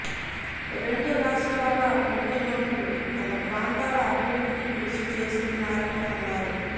రెండు రాష్ట్రాల ముఖ్యమంత్రులు తమ ప్రాంతాల అభివృద్ధికి కృషి చేస్తున్నారని అన్నారు